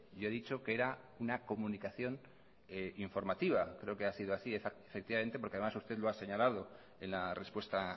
yo he dicho que era una comunicación informativa creo que ha sido así efectivamente porque además usted lo ha señalado en la respuesta